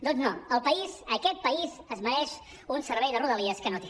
doncs no el país aquest país es mereix un servei de rodalies que no té